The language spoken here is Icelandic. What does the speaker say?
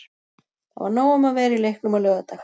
Það var nóg um að vera í leiknum á laugardag.